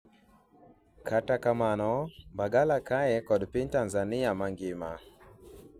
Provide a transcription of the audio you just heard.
kata kamano Mbagala kae kod piny Tanzania mangima